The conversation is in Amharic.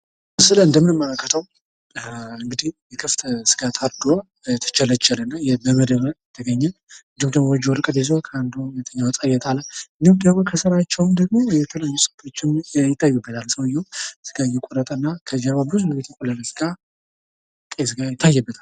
ምስሉ ላይ እንደምንመለከትው እንግዲህ የከብት ስጋ ታርዶ እየተቸረቸረ ነው። በምደብም ከተገኘ በጁ ወረቀት ይዞ ሁለተኛው እጣ እየጣለ እንዲሁም ደግሞ የተለዩ ይታይበታል። ሰውየው ስጋ እየቆረጠ እና ከጀርባ ብዙ የተቆረጠ ስጋ ይታይበታል።